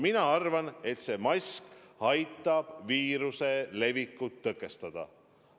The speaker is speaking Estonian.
Mina arvan, et mask aitab viiruse levikut tõkestada.